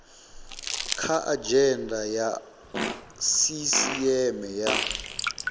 kha adzhenda ya sisieme ya